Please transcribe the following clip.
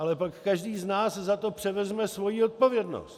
Ale pak každý z nás za to převezme svoji odpovědnost.